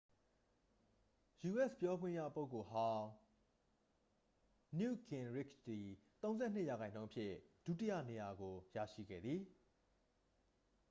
ယူအက်စ် ပြောခွင့်ရပုဂ္ဂိုလ်ဟောင်း နယူ့တ်ဂင်ရစ်ချ်သည် 32 ရာခိုင်နှုန်းဖြင့် ဒုတိယနေရာကို ရရှိခဲ့သည်